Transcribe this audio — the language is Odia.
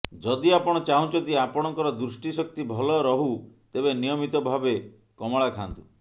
ଯଦି ଆପଣ ଚାହୁଁଛନ୍ତି ଆପଣଙ୍କର ଦୃଷ୍ଟିଶକ୍ତି ଭଲ ରହୁ ତେବେ ନିୟମିତ ଭାବେ କମଳା ଖାଆନ୍ତୁ